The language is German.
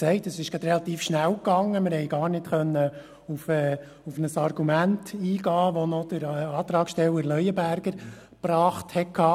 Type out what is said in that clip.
Die Eintretensdebatte ist relativ schnell gelaufen, und wir konnten gar nicht auf das Argument eingehen, das Antragssteller Leuenberger, eingebracht hatte.